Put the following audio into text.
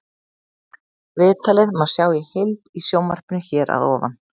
Viðtalið má sjá í heild í sjónvarpinu hér að ofan.